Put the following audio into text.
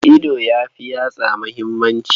Ido ya fi yatsa muhimmanci.